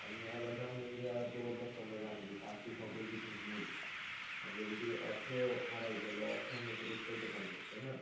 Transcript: আর নিয়ে আবার জানবেন যে প্রবাদ ব্যাখ্যা আমরা জানি যে স্বাস্থ সকল যুগের মূল আমরা যদি অর্থ হারাই তাহলে অর্থ আমরা ফেরত পাইতে পারবো তাই না